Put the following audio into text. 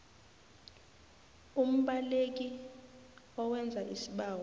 umbaleki owenza isibawo